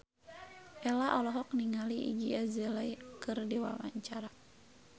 Ello olohok ningali Iggy Azalea keur diwawancara